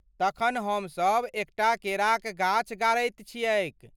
तखन, हमसभ एकटा केराक गाछ गाड़ैत छियैक ।